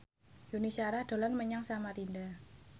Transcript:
Yuni Shara dolan menyang Samarinda